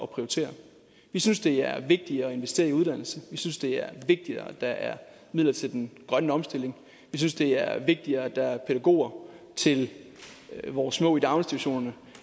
prioritere vi synes det er vigtigere at investere i uddannelse vi synes det er vigtigere at der er midler til den grønne omstilling vi synes det er vigtigere at der er pædagoger til vores små i daginstitutionerne